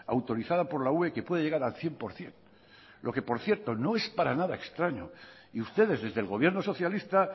autorizada por la ue que puede llegar al cien por ciento lo que por cierto no es para nada extraño y ustedes desde el gobierno socialista